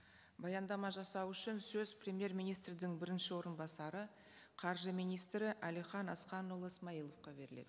баяндама жасау үшін сөз премьер министрдің бірінші орынбасары қаржы министрі әлихан асханұлы смайыловқа беріледі